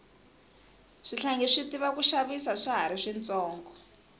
swihlangi swi tiva ku xavisa swa hari swi tsonga